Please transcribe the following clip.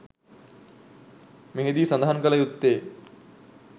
මෙහිදී සඳහන් කළ යුත්තේ